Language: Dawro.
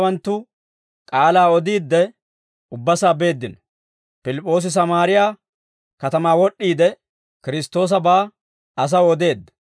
Pilip'p'oosi Sammaariyaa katamaa wod'd'iide, Kiristtoosabaa asaw odeedda.